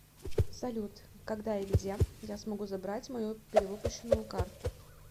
салют когда и где я смогу забрать мою перевыпущенную карту